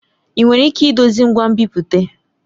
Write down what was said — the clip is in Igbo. Ị nwere ike idozi ngwa nbipute?